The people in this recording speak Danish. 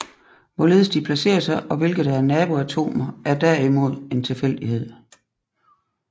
Hvorledes de placerer sig og hvilke der er nabo atomer er derimod en tilfældighed